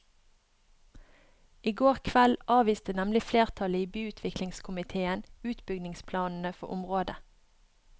I går kveld avviste nemlig flertallet i byutviklingskomitéen utbyggingsplanene for området.